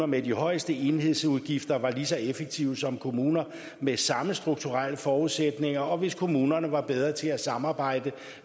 med de højeste enhedsudgifter var lige så effektive som andre kommuner med samme strukturelle forudsætninger og hvis kommunerne var bedre til at samarbejde